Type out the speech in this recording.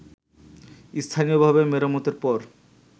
স্থানীয়ভাবে মেরামতের পর